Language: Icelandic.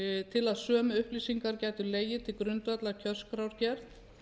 til að sömu upplýsingar gætu legið til grundvallar kjörskrárgerð